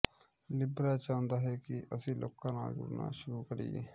Libra ਚਾਹੁੰਦਾ ਹੈ ਕਿ ਅਸੀਂ ਲੋਕਾਂ ਨਾਲ ਜੁੜਨਾ ਸ਼ੁਰੂ ਕਰੀਏ